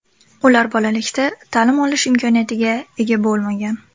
Ular bolalikda ta’lim olish imkoniyatiga ega bo‘lmagan.